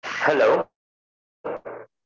Hello